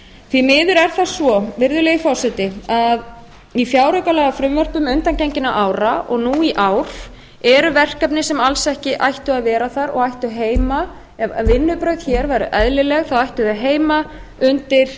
því miður er það svo virðulegi forseti að í fjáraukalagafrumvörpum undangenginna ára og nú í ár eru verkefni sem alls ekki ættu að vera þar og ættu heima ef vinnubrögð hér væru eðlileg þá ættu þau heima undir